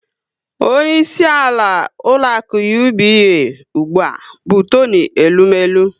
Onyeisi ụlọaku UBA ụgbụa bụ Toni Elumelu